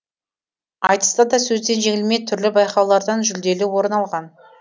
айтыста да сөзден жеңілмей түрлі байқаулардан жүлделі орын алған